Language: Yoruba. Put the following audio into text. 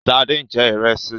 Sade ń jẹ ìrẹsì